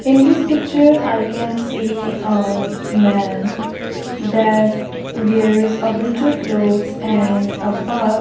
in this picture I can see a men that wears a winter clothes and a purse.